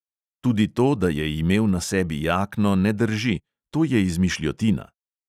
Tudi to, da je imel na sebi jakno, ne drži, to je izmišljotina.